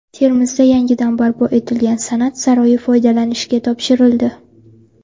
Termizda yangidan barpo etilgan San’at saroyi foydalanishga topshirildi.